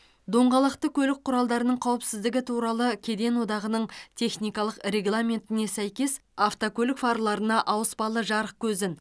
доңғалақты көлік құралдарының қауіпсіздігі туралы кеден одағының техникалық регламентіне сәйкес автокөлік фарларына ауыспалы жарық көзін